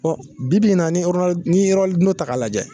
Ɔ bi bi in na ni oronali ni ye oronino ta k'a lajɛ